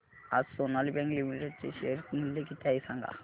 आज Sonali bank limited चे share मूल्य किती आहे सांगा